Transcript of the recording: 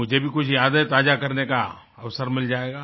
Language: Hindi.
मुझे भी कुछ यादें ताजा करने का अवसर मिल जाएगा